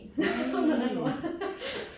Det var noget rigtig lort